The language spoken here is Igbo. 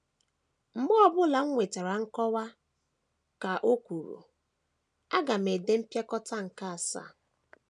“ Mgbe ọ bụla m nwetara nkọwa, ” ka o kwuru, “ aga m ede Mpịakọta nke Asaa. ”